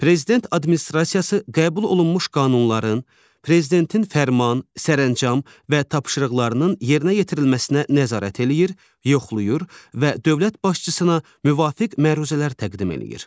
Prezident Administrasiyası qəbul olunmuş qanunların, Prezidentin fərman, sərəncam və tapşırıqlarının yerinə yetirilməsinə nəzarət eləyir, yoxlayır və dövlət başçısına müvafiq məruzələr təqdim eləyir.